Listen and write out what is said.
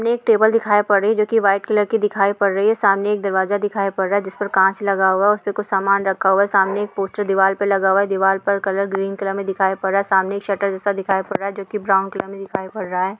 ये एक टेबल दिखाई पड़ रही है जो वाइट कलर दिखाई पड़ रही है सामने एक दरवाज़ा दिखाई पड़ रहा है जिस पर कांच लगा हुआ है उसपे कुछ सामान रखा हुआ है सामने एक पोस्टर दिवार पे लगा हुआ है दिवार पर ग्रीन कलर में दिखाई पड़ रहा है सामने एक शटर जैसा दिखाई पड़रा है जो के ब्राउन कलर में दिखाई पड़ रहा है।